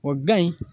O bila in